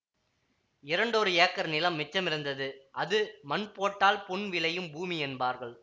இரண்டொரு ஏக்கர் நிலம் மிச்சமிருந்தது அது மண் போட்டால் பொன் விளையும் பூமி என்பார்கள்